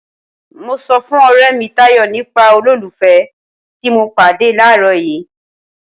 Mo sọ fún ọrẹ mi Tayọ nípa olólùfẹ́ ti mo pàdé làárọ̀ yìí.